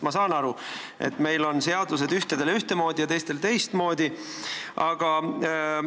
Ma saan aru, et meil on ühtedele ühtemoodi ja teistele teistmoodi seadused.